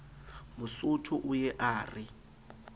mosotho o ye a re